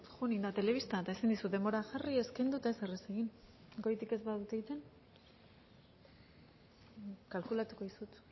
zeren joan egin da telebista eta ezin dizut denbora jarri ez kendu eta ezer ez egin goitik ez badute egiten kalkulatuko duzu